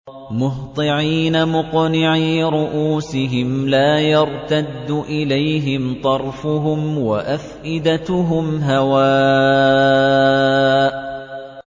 مُهْطِعِينَ مُقْنِعِي رُءُوسِهِمْ لَا يَرْتَدُّ إِلَيْهِمْ طَرْفُهُمْ ۖ وَأَفْئِدَتُهُمْ هَوَاءٌ